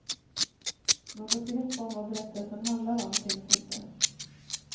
Något grepp om vad berättelsen handlar om finns inte.